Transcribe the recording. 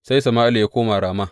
Sai Sama’ila ya koma Rama.